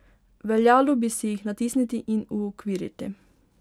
Veljalo bi si jih natisniti in uokviriti.